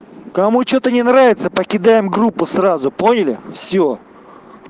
кому что-то не нравится покидаем группу сразу поняли всё